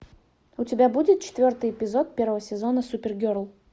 у тебя будет четвертый эпизод первого сезона супергерл